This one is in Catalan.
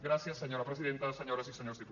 gràcies senyora presidenta senyores i senyors diputats